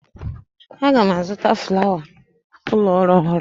Aga m azụta failụ ụlọ ọrụ ọhụrụ.